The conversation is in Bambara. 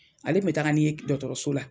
Ale kun bɛ taga ni n ye dɔgɔtɔrɔso la.